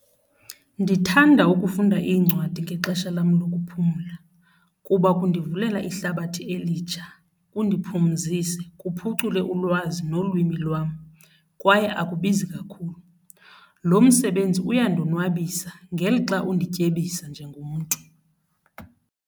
Ndithanda ukufunda iincwadi ngexesha lam lokuphumla kuba kundivulela ihlabathi elitsha, kuneziphumzise, kuphucule ulwazi nolwimi lwam kwaye akubizi kakhulu. Lo msebenzi uyandonwabisa ngelixa undityebisa njengomntu.